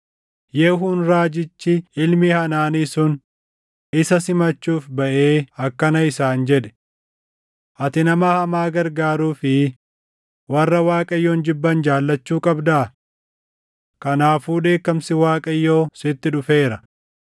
Yehuun raajichi ilmi Hanaanii sun isa simachuuf baʼee akkana isaan jedhe; “Ati nama hamaa gargaaruu fi warra Waaqayyoon jibban jaallachuu qabdaa? Kanaafuu dheekkamsi Waaqayyoo sitti dhufeera.